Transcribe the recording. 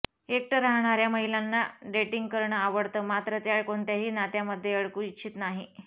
एकटं राहणाऱ्या महिलांना डेटिंग करणं आवडतं मात्र त्या कोणत्याही नात्यामध्ये अडकू इच्छित नाही